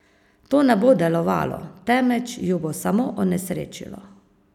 To ne bo delovalo, temveč ju bo samo onesrečilo.